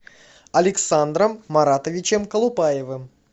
александром маратовичем колупаевым